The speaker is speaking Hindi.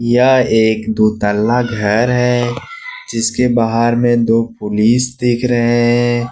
यह एक दो तल्ला घर है जिसके बाहर में दो पुलिस दिख रहे है।